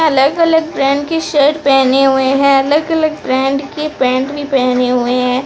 अलग अलग ब्रांड की शर्ट पहने हुए है अलग अलग ब्रांड की पेंट भी पहने हुए है।